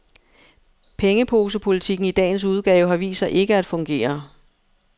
Pengeposepolitikken i dagens udgave har vist sig ikke at fungere.